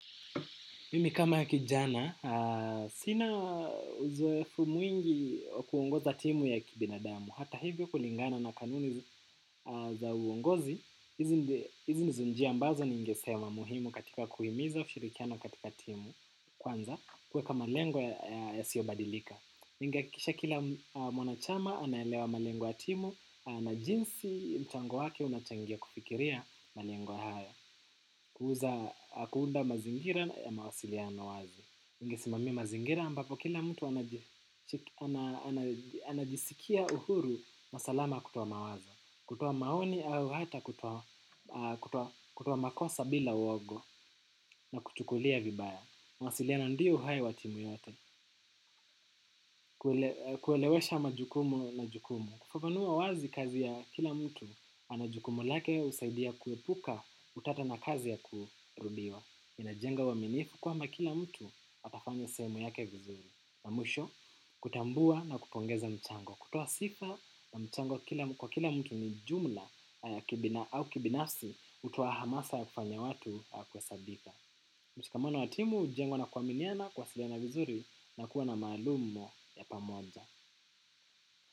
Mimi kama kijana, sina uzoefu mwingi kuongoza timu ya kibinadamu. Hata hivyo kulingana na kanuni za uongozi, hizi ndizo njia ambazo ningesema muhimu katika kuhimiza ushirikiano katika timu. Kwanza, kuweka malengo yasiyobadilika. Ningehakikisha kila mwanachama anaelewa malengo ya timu na jinsi mchango wake unachangia kufikiria malengo haya. Kuuza kuunda mazingira ya mawasiliano wazi, ningesimamia mazingira ambapo kila mtu anaji anajisikia uhuru na salama kutoa mawazo, kutoa maoni au hata kutoa makosa bila uoga na kuchukulia vibaya. Mawasiliano ndiyo uhai wa timu yote. Kuelewesha majukumu na jukumu. Kufafanua wazi kazi ya kila mtu ana jukumu lake husaidia kuepuka utata na kazi ya kurudiwa. Inajenga uaminifu kwamba kila mtu atafanya sehemu yake vizuri. Na mwisho kutambua na kupongeza mchango. Kutoa sifa na mchango kwa kila mtu ni jumla au kibinafsi hutoa hamasa ya kufanya watu ya kuhesabika. Mshikamano wa timu hujengwa na kuaminiana, kuwasiliana vizuri na kuwa na maalum ya pamoja.